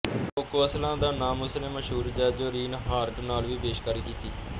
cocoa Aslan ਦਾ ਨਾਮ ਉਸਨੇ ਮਸ਼ਹੂਰ ਜੈਂਜੋ ਰੀਨਹਾਰਟ ਨਾਲ ਵੀ ਪੇਸ਼ਕਾਰੀ ਕੀਤੀ